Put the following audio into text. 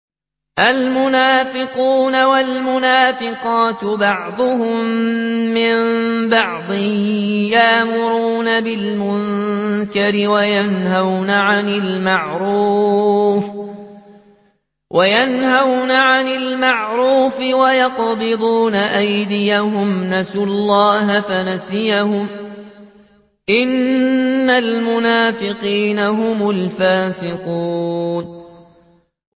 الْمُنَافِقُونَ وَالْمُنَافِقَاتُ بَعْضُهُم مِّن بَعْضٍ ۚ يَأْمُرُونَ بِالْمُنكَرِ وَيَنْهَوْنَ عَنِ الْمَعْرُوفِ وَيَقْبِضُونَ أَيْدِيَهُمْ ۚ نَسُوا اللَّهَ فَنَسِيَهُمْ ۗ إِنَّ الْمُنَافِقِينَ هُمُ الْفَاسِقُونَ